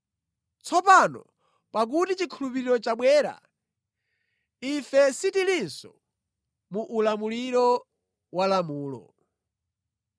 Tsopano pakuti chikhulupiriro chabwera, ife sitilinso mu ulamuliro wa lamulo.